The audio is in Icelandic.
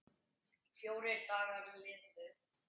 Fjórir dagar liðu.